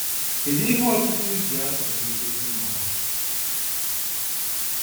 kedụ ihe ọtụtụ ji atụrụ nchekwa ụmụ ha?